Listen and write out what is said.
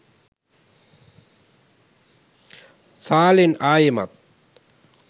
සාලෙන් ආයෙමත්